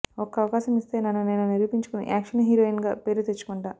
ఒక్క అవకాశం ఇస్తే నన్ను నేను నిరూపించుకొని యాక్షన్ హీరోయిన్ గా పేరు తెచ్చుకుంటా